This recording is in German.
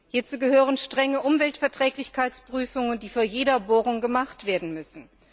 Hierzu gehören strenge Umweltverträglichkeitsprüfungen, die vor jeder Bohrung gemacht werden müssen.